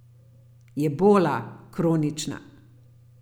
Jebola, kronična.